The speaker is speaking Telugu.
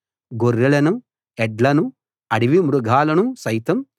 గొర్రెలను ఎడ్లను అడవి మృగాలను సైతం